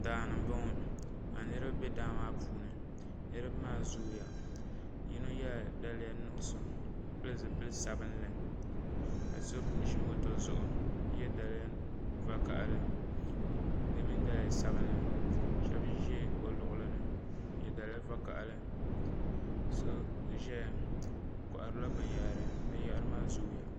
Daani n bɔŋɔ ka niriba bɛ daa maa puuni niriba maa zooya yino ye la daliya nuɣiso ka pili zupili sabinli ka so zi moto zuɣu ka ye daliya vakahali di mini saliya sabinli shɛba zɛ o luɣili ni nye daliya vakahali so zɛya o kɔhira bini yahari bini yahari maa zooya.